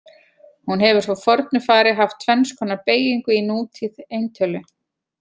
Hún hefur frá fornu fari haft tvenns konar beygingu í nútíð eintölu.